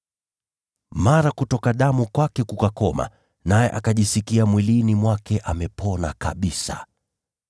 Mara kutoka damu kwake kukakoma, naye akajisikia mwilini mwake amepona kabisa.